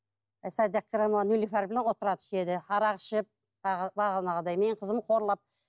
арақ ішіп бағанағыдай менің қызымды қорлап